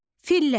Fillər.